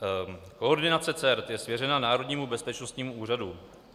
Koordinace CERT je svěřena Národnímu bezpečnostnímu úřadu.